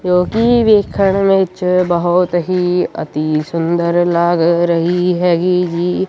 ਜੋ ਕਿ ਵੇਖਣ ਵਿੱਚ ਬਹੁਤ ਹੀ ਅਤੀਸੁੰਦਰ ਲੱਗ ਰਹੀ ਹੈਗੀ ਜੀ।